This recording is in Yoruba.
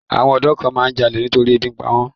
Àwọn ọ̀dọ́ kan máa ń jalè nítorí pé ebi ń pa wọ́n.